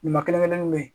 Ɲuman kelen kelenw be yen